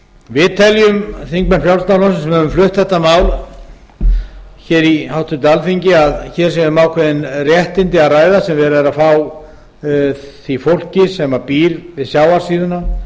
við þingmenn frjálslynda flokksins sem höfum flutt gert mál hér í háttvirtu alþingi teljum að hér sé um ákveðin réttindi að ræða sem verið er að fá því fólki sem býr við sjávarsíðuna